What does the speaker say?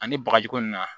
Ani bagaji ko nin na